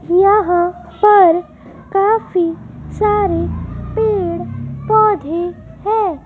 यहां पर काफी सारे पेड़ पौधे हैं।